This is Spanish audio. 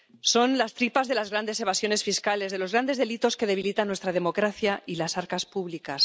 Son las tripas de las grandes evasiones fiscales, de los grandes delitos que debilitan nuestra democracia y las arcas públicas.